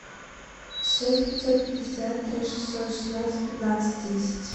шесть пятьсот пятьдесят три шестьсот шестнадцать пятнадцать десять